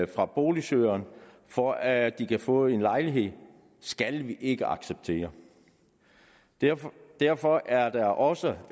fra boligsøgerne for at de kan få en lejlighed skal vi ikke acceptere derfor derfor er der også